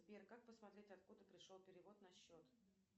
сбер как посмотреть откуда пришел перевод на счет